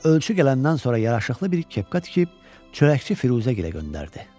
Ölçü gələndən sonra yaraşıqlı bir kepka tikib, çörəkçi Firuzəgilə göndərdi.